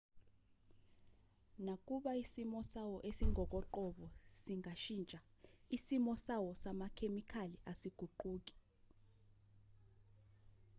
nakuba isimo sawo esingokoqobo singashintsha isimo sawo samakhemikhali asiguquki